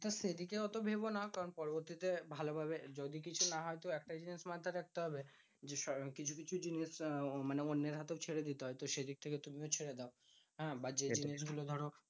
তা সেদিকে অত ভেরোনা, কারণ পরবর্তীতে ভালোভাবে যদি কিছু না হয়তো একটা জিনিস মাথায় রাখতে হবে যে, কিছু কিছু জিনিস আহ মানে অন্যের হাতেও ছেড়ে দিতে হয়। তো সেদিক থেকে তুমিও ছেড়ে দাও। বা যে জিনিসগুলো ধরো